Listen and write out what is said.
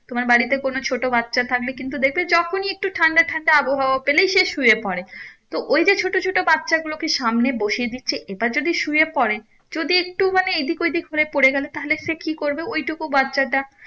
তোমার বাড়িতে কোনো ছোট বাচ্ছা থাকলে কিন্তু দেখবে যখনি একটু ঠান্ডা ঠান্ডা আবহাওয়া পেলেই সে শুয়ে পরে তো ওই যে ছোট ছোট বাচ্ছা গুলোকে সামনে বসিয়ে দিচ্ছে এবার যদি শুয়ে পরে যদি একটু মানে এইদিক ওইদিক হয়ে পরে গেলে তাহলে সে কি করবে ওই টুকু বাচ্ছাটা